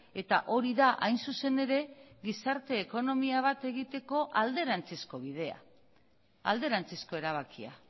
eta hori da hain zuzen ere gizarte ekonomia bat egiteko alderantzizko bidea alderantzizko erabakia